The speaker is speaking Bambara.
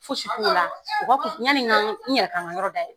Fosi t'o la u b'a fɔ yanni ka n yɛrɛ ka n ka yɔrɔ dɛyɛlɛ